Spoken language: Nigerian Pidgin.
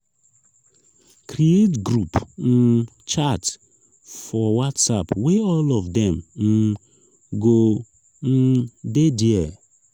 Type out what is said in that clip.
create group um chat for whatsapp wey all of dem um go um de there